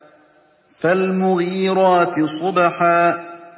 فَالْمُغِيرَاتِ صُبْحًا